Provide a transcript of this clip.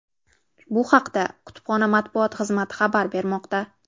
Bu haqda kutubxona matbuot xizmati xabar bermoqda.